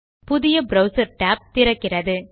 புதிய browser tab திறக்கிறது